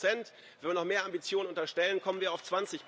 15 Wenn wir noch mehr Ambitionen unterstellen, kommen wir auf